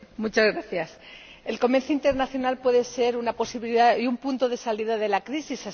Señor Presidente, el comercio internacional puede ser una posibilidad y un punto de salida de la crisis.